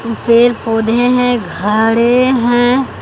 पेड़ पौधे हैं घरे है।